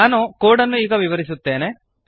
ನಾನು ಕೋಡ್ ಅನ್ನು ಈಗ ವಿವರಿಸುತ್ತೇನೆ